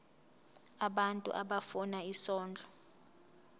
abantu abafuna isondlo